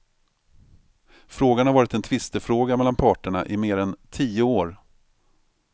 Frågan har varit en tvistefråga mellan parterna i mer än tio år.